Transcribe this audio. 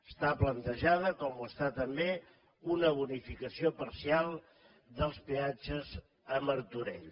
està plantejada com ho està també una bonificació parcial dels peatges a martorell